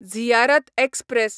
Ziyarat express